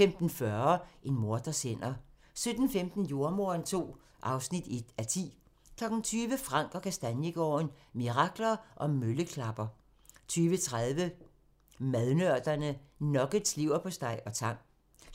15:40: En morders hænder 17:15: Jordemoderen II (1:10) 20:00: Frank & Kastaniegaarden – Muranker og Mølleklapper 20:30: Madnørderne – Nuggets, leverpostej og tang